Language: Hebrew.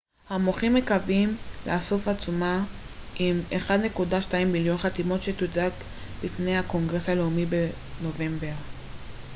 המוחים מקווים לאסוף עצומה עם 1.2 מיליון חתימות שתוצג בפני הקונגרס הלאומי בנובמבר